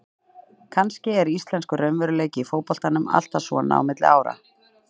Kannski er íslenskur raunveruleiki í fótboltanum alltaf svona á milli ára.